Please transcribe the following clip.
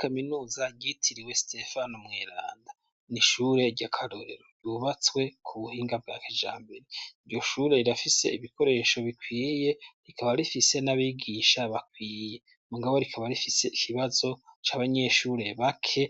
Kaminuza ryitiriwe Sitefano Mweranda, n'ishure ry'akarorero ryubatswe ku buhinga bwa kijambere, iryo shure rirafise ibikoresho bikwiye rikaba rifise n'abigisha bakwiye, mugabo rikaba rifise ikibazo c'abanyeshure bake